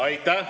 Aitäh!